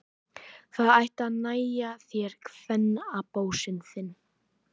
Það ætti að nægja þér, kvennabósinn þinn!